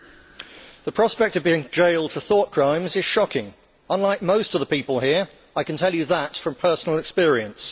Mr President, the prospect of being jailed for thought crimes is shocking. Unlike most of the people here, I can tell you that from personal experience.